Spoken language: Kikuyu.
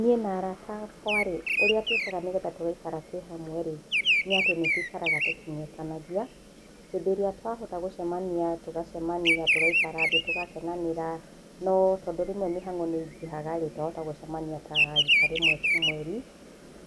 Niĩ na arata akwa rĩ ũrĩa twĩkaga nĩgetha tũgaĩkara twĩ hamwe rĩ nĩ atĩ nĩtúĩkaraga tũkĩng'etanagĩa hĩndi ĩria twahota gũcemania tũgacemania tũgaikara thĩ tũgakenanĩra no tondũ rĩmwe mĩhango nĩĩngihaga rĩ, twahota gũcemania ta rĩta rĩmwe tu mweri,